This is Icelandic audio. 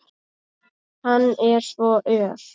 Hann er svo ör!